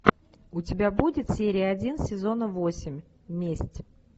у тебя будет серия один сезона восемь месть